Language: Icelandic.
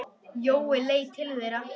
Jói leit til þeirra.